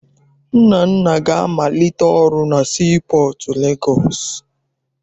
Nnanna ga-amalite ọrụ na sii pọọtụ Legọọsị.